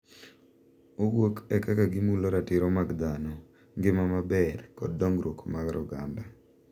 Owuok e kaka gimulo ratiro mag dhano, ngima maber, kod dongruok mar oganda.